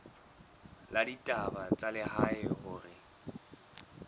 la ditaba tsa lehae hore